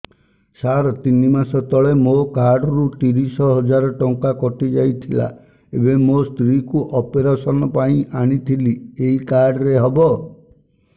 ସାର ତିନି ମାସ ତଳେ ମୋ କାର୍ଡ ରୁ ତିରିଶ ହଜାର ଟଙ୍କା କଟିଯାଇଥିଲା ଏବେ ମୋ ସ୍ତ୍ରୀ କୁ ଅପେରସନ ପାଇଁ ଆଣିଥିଲି ଏଇ କାର୍ଡ ରେ ହବ